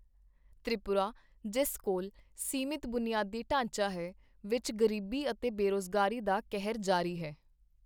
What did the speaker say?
ਤ੍ਰਿਪੁਰਾ, ਜਿਸ ਕੋਲ ਸੀਮਤ ਬੁਨਿਆਦੀ ਢਾਂਚਾ ਹੈ, ਵਿੱਚ ਗ਼ਰੀਬੀ ਅਤੇ ਬੇਰੁਜ਼ਗਾਰੀ ਦਾ ਕਹਿਰ ਜਾਰੀ ਹੈ।